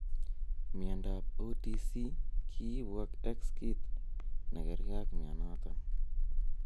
Miondap OTC kiipu ak x kit negerge ak mionoton.